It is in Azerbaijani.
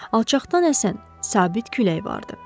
Alçaqdan əsən sabit külək vardı.